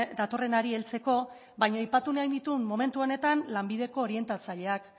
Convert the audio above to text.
datorrenari heltzeko baino aipatu nahi nituen momentu honetan lanbideko orientatzaileak